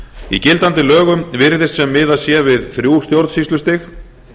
í gildandi lögum virðist sem miðað sé við þrjú stjórnsýslustig